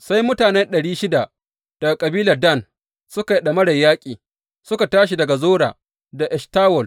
Sai mutane ɗari shida daga kabilar Dan suka yi ɗamarar yaƙi, suka tashi daga Zora da Eshtawol.